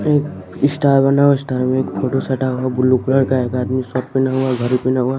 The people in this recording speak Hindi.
एक स्टार बना हुआ स्टार में एक फोटो सटा हुआ बुलु कलर का है एक आदमी शर्ट पेहना हुआ घड़ी पेहना हुआ।